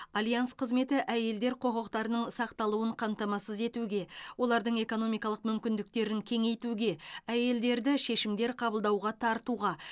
альянс қызметі әйелдер құқықтарының сақталуын қамтамасыз етуге олардың экономикалық мүмкіндіктерін кеңейтуге әйелдерді шешімдер қабылдауға тартуға